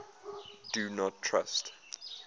do not trust